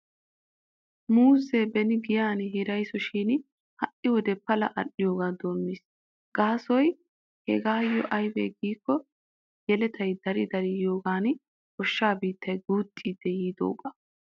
Muuzze beni giyan hiraysoshin ha'i wode Pala al'iyoogaa doommiis. Gaasoy hegaayyo aybee giikko yeletay Dari Dari yiidoogan goshsha biittay guuxxidi yiidoogaa.